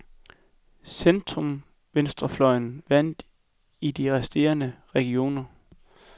Centrumvenstrefløjen vandt i de resterende regioner.